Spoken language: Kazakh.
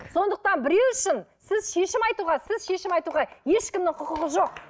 сондықтан біреу үшін сіз шешім айтуға сіз шешім айтуға ешкімнің құқығы жоқ